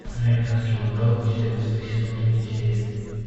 американский вандал четырнадцатый сезон третья серия